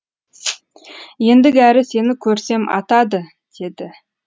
ендігәрі сені көрсем атады деді